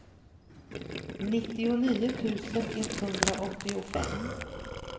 nittionio tusen etthundraåttiofem